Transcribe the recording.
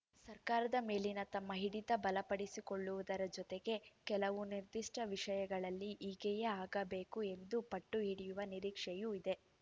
ಸರ್ಕಾರದ ಮೇಲಿನ ತಮ್ಮ ಹಿಡಿತ ಬಲಪಡಿಸಿಕೊಳ್ಳುವುದರ ಜೊತೆಗೆ ಕೆಲವು ನಿರ್ದಿಷ್ಟವಿಷಯಗಳಲ್ಲಿ ಹೀಗೆಯೇ ಆಗಬೇಕು ಎಂದು ಪಟ್ಟು ಹಿಡಿಯುವ ನಿರೀಕ್ಷೆಯೂ ಇದೆ